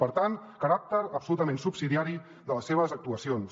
per tant caràcter absolutament subsidiari de les seves actuacions